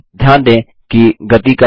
ध्यान दें कि गति कम नहीं हुई